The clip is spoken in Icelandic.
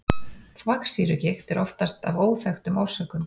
þvagsýrugigt er oftast af óþekktum orsökum